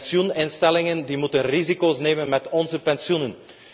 Pensioeninstellingen moeten risico's nemen met onze pensioenen.